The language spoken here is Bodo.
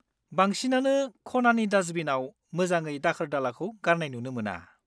बांसिनानो खनानि दास्टबिनाव मोजाङै दाखोर-दालाखौ गारनाय नुनो मोना।